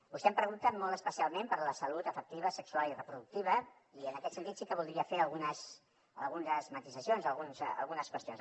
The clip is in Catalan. vostè em pregunta molt especialment per la salut afectiva sexual i reproductiva i en aquest sentit sí que voldria fer algunes matisacions algunes qüestions